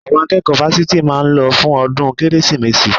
Àwọn akẹ́kọ̀ọ́ fásitì máa lọ fún ọdún Kérésìmesì